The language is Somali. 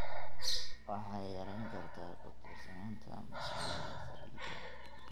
waxay yarayn kartaa ku tiirsanaanta mashiinnada saliidda.